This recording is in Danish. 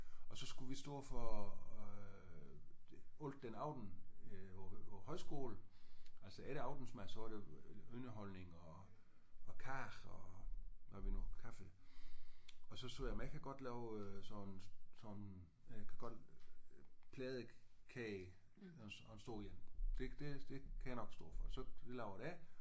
Og så skulle vi stå for øh alt den aften øh på højskolen altså efter aftensmad så var der underholdning og kage og hvad vi nu kaffe og så sagde jeg jamen jeg kan godt lave øh sådan sådan øh jeg kan godt pladekage og en stor en det det kan jeg nok stå for